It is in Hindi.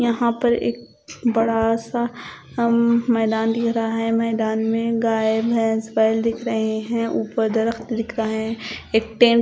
यहां पर एक बड़ा सा मैदान दिख रहा है मैदान में गाय भैंस बैल दिख रहे हैं ऊपर दरख्त दिख रहे एक टें--